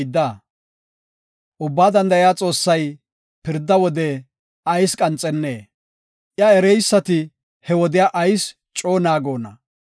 Ubbaa Danda7iya Xoossay pirda wode ayis qanxennee? Iya ereysati he wodiya ayis coo naagonna?